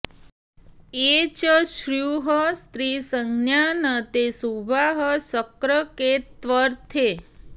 ये च स्युः स्त्रीसंज्ञा न ते शुभाः शक्रकेत्वर्थे